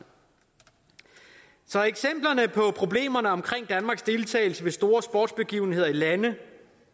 så eksemplerne på problemerne omkring danmarks deltagelse ved store sportsbegivenheder i landet